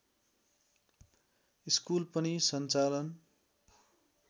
school पनि सञ्चालन